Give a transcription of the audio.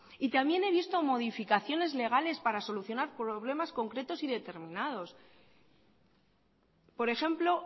y también he visto modificaciones legales para solucionar problemas concretos y determinados por ejemplo